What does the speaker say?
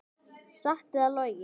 Satt eða logið.